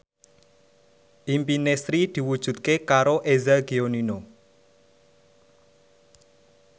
impine Sri diwujudke karo Eza Gionino